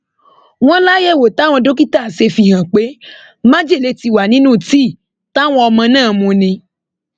wọn láyẹwò táwọn dókítà ṣe fìhàn pé májèlé ti wà nínú tíì táwọn ọmọ náà mu ni